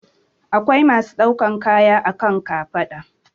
Akwai masu ɗaukan kaya a kan kafaɗa